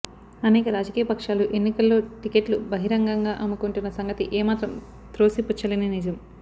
అనేక రాజకీయ పక్షాలు ఎన్నికల్లో టికెట్లు బహిరంగంగా అమ్ముకొంటున్న సంగతి ఏమాత్రం త్రోసిపుచ్చలేని నిజం